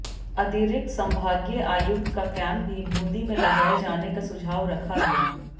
अतिरिक्त संभागीय आयुक्त का कैम्प भी बूंदी में लगाए जाने का सुझाव रखा गया